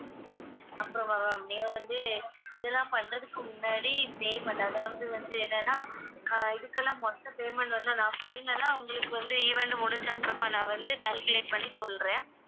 அப்புறமா ma'am நீங்க வந்து இதெல்லாம் பண்றதுக்கு முன்னாடி payment அதாவது வந்து என்னன்னா ஆஹ் இதுக்கெல்லாம் மொத்த payment வந்து நான் final ஆ உங்களுக்கு வந்து event முடிச்ச அப்புறமா நான் வந்து calculate பண்ணி சொல்றேன்